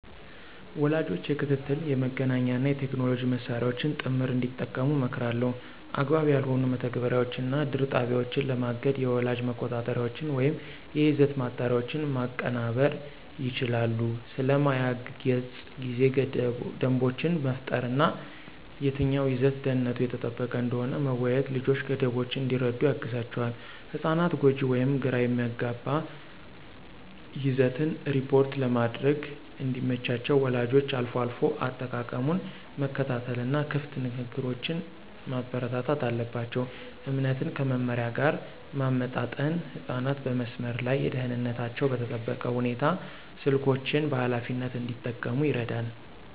ወላጆች የክትትል፣ የመገናኛ እና የቴክኖሎጂ መሳሪያዎችን ጥምር እንዲጠቀሙ እመክራለሁ። አግባብ ያልሆኑ መተግበሪያዎችን እና ድር ጣቢያዎችን ለማገድ የወላጅ መቆጣጠሪያዎችን ወይም የይዘት ማጣሪያዎችን ማቀናበር ይችላሉ። ስለ ማያ ገጽ ጊዜ ደንቦችን መፍጠር እና የትኛው ይዘት ደህንነቱ የተጠበቀ እንደሆነ መወያየት ልጆች ገደቦችን እንዲረዱ ያግዛቸዋል። ህጻናት ጎጂ ወይም ግራ የሚያጋባ ይዘትን ሪፖርት ለማድረግ እንዲመቻቸው ወላጆች አልፎ አልፎ አጠቃቀሙን መከታተል እና ክፍት ንግግሮችን ማበረታታት አለባቸው። እምነትን ከመመሪያ ጋር ማመጣጠን ህጻናት በመስመር ላይ ደህንነታቸው በተጠበቀ ሁኔታ ስልኮችን በኃላፊነት እንዲጠቀሙ ይረዳል።